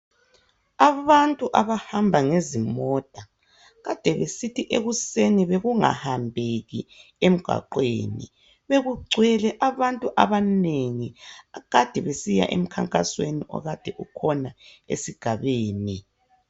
Abantu abahamba ngezimota kade besithi ekusen bekungahambeki emgwaqweni, bekugcwele abantu abanengi abakade besiya emkhankasweni okade ukhona esigabeni.